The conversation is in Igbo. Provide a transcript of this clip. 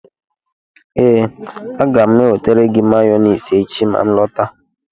ee, aga m enwetara gị mayonesi echi ma nlọtawa